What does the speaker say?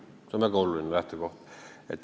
See on väga oluline lähtekoht.